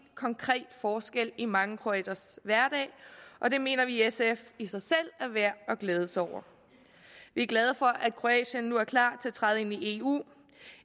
konkret forskel i mange kroaters hverdag og det mener vi i sf i sig selv er værd at glæde sig over vi er glade for at kroatien nu er klar til at træde ind i eu